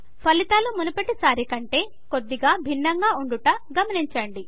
ఫలితాలు మునుపటి సారి కంటే కొద్దిగా భిన్నంగా ఉండుట గమనించండి